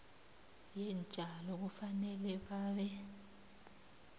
yeentjalo kufanele babe